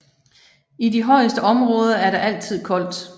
I de højeste områder er der altid koldt